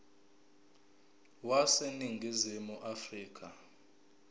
wase ningizimu afrika